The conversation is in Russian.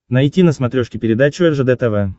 найти на смотрешке передачу ржд тв